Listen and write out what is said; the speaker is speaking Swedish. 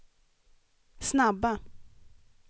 snabba